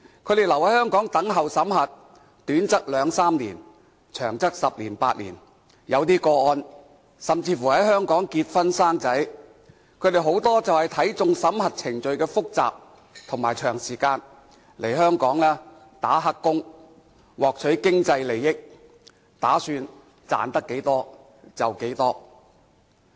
他們留在香港等候審核，短則兩三年，長則十年八年，在一些個案中，聲請者甚至乎在香港結婚生子，他們很多都是看中審核程序複雜和長時間，來香港做"黑工"，獲取經濟利益，打算賺到多少便多少。